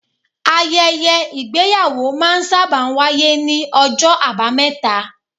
Ayẹyẹ Ìgbéyàwó máa ń sábà wáyé ní ọjọ́ abameta.